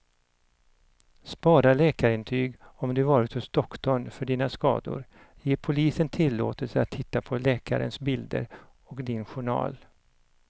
Spara läkarintyg om du varit hos doktorn för dina skador, ge polisen tillåtelse att titta på läkarens bilder och din journal.